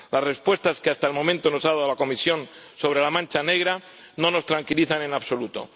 Las respuestas que, hasta el momento, nos ha dado la Comisión sobre la mancha negra no nos tranquilizan en absoluto.